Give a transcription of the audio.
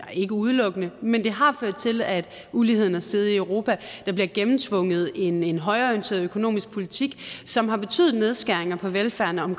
ikke udelukkende men det har ført til at uligheden er steget i europa der bliver gennemtvunget en en højreorienteret økonomisk politik som har betydet nedskæringer af velfærden